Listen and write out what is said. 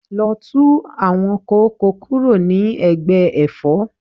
Lọ tú àwọn kóókò kúrò ní ẹ̀gbẹ́ Ẹ̀fọ́!